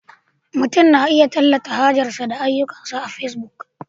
Mutum na iya tallata hajarsa da ayyukansa a Facebook